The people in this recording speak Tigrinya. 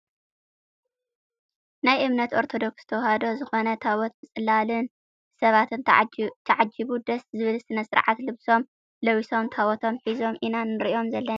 ናይ እምነት ኦርቶዶክስ ተዋህዶ ዝኮነ ታቦት ብፅላልን ብሰባትን ተዓጂቡ ደስ ዝብል ሰነ ስርዓት ልብሶም ለቢሶም ታቦቶም ሒዞም ኢና ንርኢ ዘለና ።